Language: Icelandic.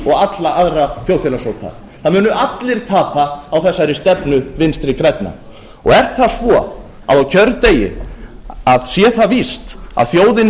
og alla aðra þjóðfélagshópa það munu allir tapa á þessari stefnu vinstri grænna er það svo að á kjördegi að sé það víst að þjóðin